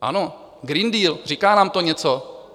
Ano, Green Deal, říká nám to něco.